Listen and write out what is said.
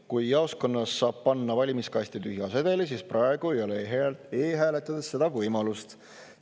Jaoskonnas saab panna valimiskasti tühja sedeli, aga e-hääletades seda võimalust praegu ei ole.